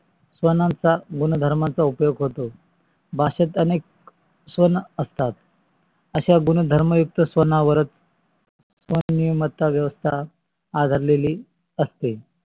स्वनांचा गुणधर्मान चा उपयोग होतो. भाषेत अनेक स्वन असतात. अशा गुणधर्म युक्त स्वनावारच स्वनिय्मातात व्यवस्ता आधारलेली असते.